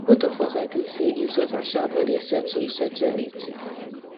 both of us agree say insult and shout no dey settle settle anything